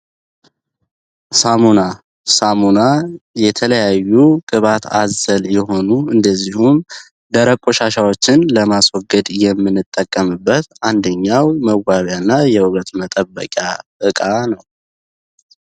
ሳሙና ሳሙና የተለያዩ ቅባት አዘል የሆኑ እንደዚሁም ደረቅ ቆሻሻዎችን ለማስወግድ የሚንጠቀምበት አንደኛው መዋቢያ እና የውበት መጠበቂያ ዕቃ ነው።